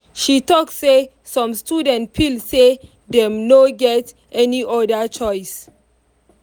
she talk say some students feel say dem no get any other choice.